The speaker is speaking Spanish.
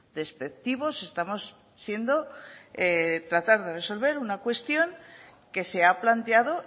despectivos estamos siendo tratar de resolver una cuestión que se ha planteado